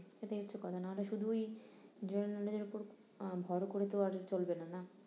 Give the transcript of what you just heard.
সেইটাই হচ্ছে কথা নাহলে শুধু ওই general knowledge এর উপর আহ ভোর করে তো আর চলবে না না